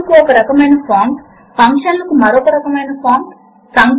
ఇప్పుడు పై ఎడమ ఐకాన్ పైన ఒకసారి క్లిక్ చేయండి